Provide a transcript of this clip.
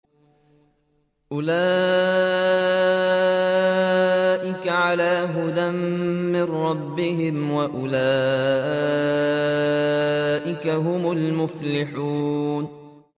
أُولَٰئِكَ عَلَىٰ هُدًى مِّن رَّبِّهِمْ ۖ وَأُولَٰئِكَ هُمُ الْمُفْلِحُونَ